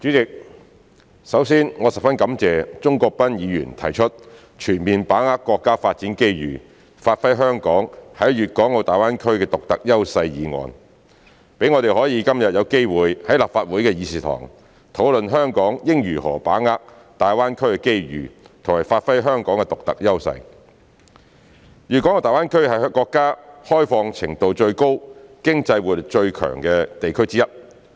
代理主席，首先，我十分感謝鍾國斌議員提出"全面把握國家發展機遇，發揮香港在粵港澳大灣區的獨特優勢"議案，讓我們今天有機會在立法會會議廳，討論香港應如何把握粵港澳大灣區的機遇及發揮香港的獨特優勢。大灣區是國家開放程度最高、經濟活力最強的地區之一。